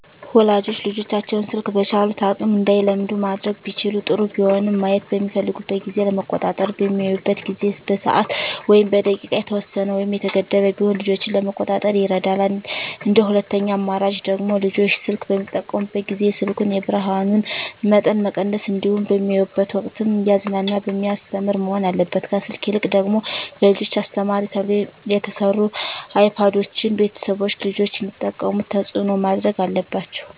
ወላጆች ልጆቻቸውን ስልክ በቻሉት አቅም እንዳይለምዱ ማድረግ ቢችሉ ጥሩ ቢሆንም ማየት በሚፈልጉበት ጊዜ ለመቆጣጠር በሚያዩበት ጊዜ በሰዓት ወይም በደቂቃ የተወሰነ ወይም የተገደበ ቢሆን ልጆችን ለመቆጣጠር ይረዳል እንደ ሁለተኛ አማራጭ ደግሞ ልጆች ስልክ በሚጠቀሙበት ጊዜ የስልኩን የብርሀኑን መጠን መቀነስ እንዲሁም በሚያዩበት ወቅትም እያዝናና በሚያስተምር መሆን አለበት ከስልክ ይልቅ ደግሞ ለልጆች አስተማሪ ተብለው የተሰሩ አይፓዶችን ቤተሰቦች ልጆች እንዲጠቀሙት ተፅዕኖ ማድረግ አለባቸው።